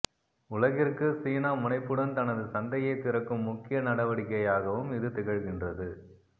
உலகிற்குச் சீனா முனைப்புடன் தனது சந்தையைத் திறக்கும் முக்கிய நடவடிக்கையாகவும் இது திகழ்கின்றது